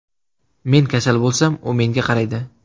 Men kasal bo‘lsam, u menga qaraydi.